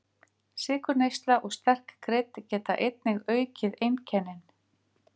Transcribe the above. Sykurneysla og sterk krydd geta einnig aukið einkennin.